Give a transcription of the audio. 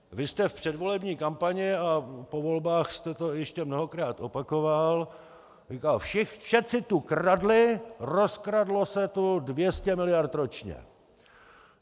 Vy jste v předvolební kampani a po volbách jste to ještě mnohokrát opakoval, říkal: Všeci tu kradli, rozkradlo se tu 200 miliard ročně!